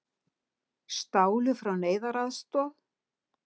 Stálu frá neyðaraðstoð